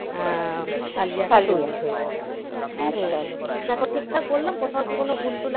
কালিয়া হয়ে যাবে আচ্ছা আচ্ছা দেখো ঠিকঠাক বললাম কোথাও কি কোনো ভুল টুল আছে?